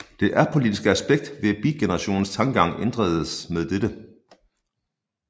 Det apolitiskle aspekt ved beatgenerationens tankegang ændredes med dette